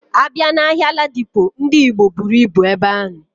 Abia na ahia Ladipo, Ndi Igbo buru ibu ebe ahu.